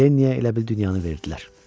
Lenliyə elə bil dünyanı verdilər.